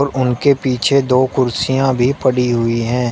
और उनके पीछे दो कुर्सियां भी पड़ी हुई हैं।